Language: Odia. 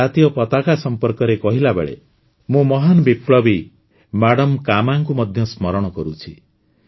ଆମ ଜାତୀୟ ପତାକା ସମ୍ପର୍କରେ କହିଲା ବେଳେ ମୁଁ ମହାନ ବିପ୍ଳବୀ ମାଡାମ୍ କାମାଙ୍କୁ ମଧ୍ୟ ସ୍ମରଣ କରୁଛି